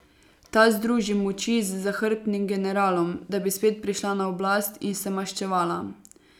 Ta združi moči z zahrbtnim generalom, da bi spet prišla na oblast in se maščevala.